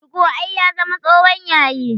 Tugo ai ya zama tsohon yayi